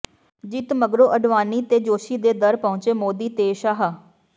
ਜਿੱਤ ਮਗਰੋਂ ਅਡਵਾਨੀ ਤੇ ਜੋਸ਼ੀ ਦੇ ਦਰ ਪਹੁੰਚੇ ਮੋਦੀ ਤੇ ਸ਼ਾਹ